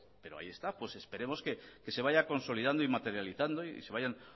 pero ahí está pues esperemos que se vaya consolidando y materializando y se vayan